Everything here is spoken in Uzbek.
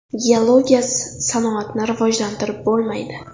Geologiyasiz sanoatni rivojlantirib bo‘lmaydi.